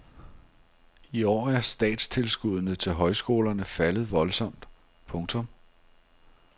I år er statstilskuddene til højskolerne faldet voldsomt. punktum